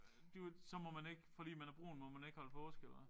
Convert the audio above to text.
Du så må man ikke fordi man er brun må man ikke holde påske eller hvad?